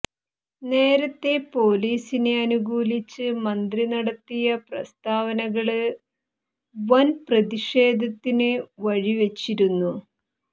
നേരത്തെ പോലീസിനെ അനുകൂലിച്ച് മന്ത്രി നടത്തിയ പ്രസ്താവനകള് വന് പ്രത്ഷേധത്തിന് വഴിവെച്ചിരുന്നു